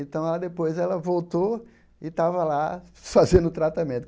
Então, ela depois ela voltou e estava lá fazendo o tratamento.